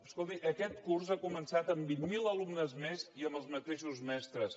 escolti aquest curs ha començat amb vint mil alumnes més i amb els mateixos mestres